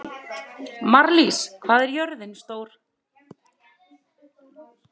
Marlís, hvað er jörðin stór?